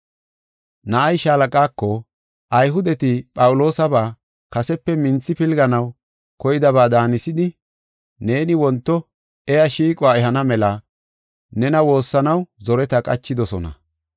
Na7ay shaalaqaako, “Ayhudeti Phawuloosaba kasepe minthi pilganaw koydaba daanisidi neeni wonto iya shiiquwa ehana mela nena woossanaw zoreta qachidosona.